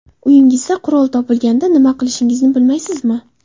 Uyingizda qurol topilganida nima qilishni bilmaysizmi?